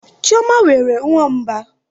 Chioma nwere nwamba.